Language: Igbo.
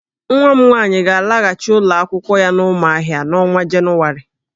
Nwa m nwaanyị ga-alaghachị ụlọ akwụkwọ ya n'Ụmụahịa n'ọnwa Jenụwarị